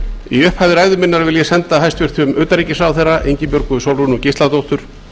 í upphafi ræðu minnar vil ég senda hæstvirtum utanríkisráðherra ingibjörgu sólrúnu gísladóttur